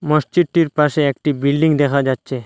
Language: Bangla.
মসজিদটির পাশে একটি বিল্ডিং দেখা যাচ্ছে।